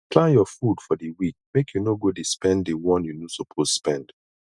plan your food for di week make you no go de spend di one you no suppose spend